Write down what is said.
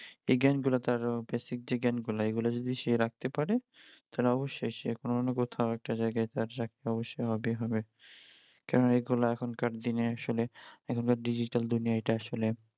এই জ্ঞান গুলো তার basic যে জ্ঞান গুলো এইগুলো যদি সে রাখতে পাড়ে তালে অবশ্যই সে কোনও না কথাও একটা যায়গাই তার চাকরি অবশ্যই হবেই হবে কেননা এইগুলো এখন কার দিনে আসলে এখনকার digital দুনিয়াই এটা আসলে